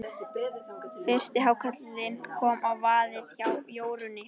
Fyrsti hákarlinn kom á vaðinn hjá Jórunni.